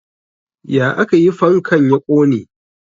Ya aka yi fankan ya ƙone?